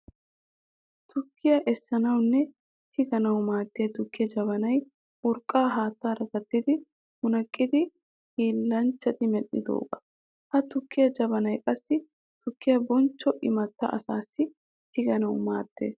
Tukkiya essanawunne tiganawu maadiya tukkiya jabanay urqqa haattaara gattidi munaqqidi hillanchchatti medhdhiyooga. Ha tukiya jabanay qassi tukiya bonchcho imatta asaasi tiganawu maadees.